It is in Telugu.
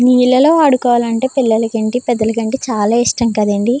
నీళ్లలో ఆడుకోవాలంటే పిల్లలు ఎంటి పెద్దలు ఎంటి చాలా ఇష్టం కదండీ.